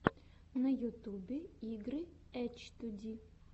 на ютюбе игры эчтуди